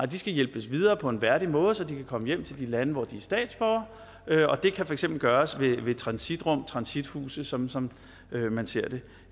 de skal hjælpes videre på en værdig måde så de kan komme hjem til de lande hvor de er statsborgere og det kan for eksempel gøres ved transitrum transithuse som som man ser det